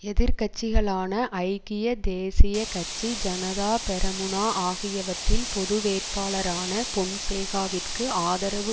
எதிர்கட்சிகளான ஐக்கிய தேசிய கட்சி ஜனதா பெரமுனா ஆகியவற்றின் பொதுவேட்பாளரான பொன்சேகாவிற்கு ஆதரவு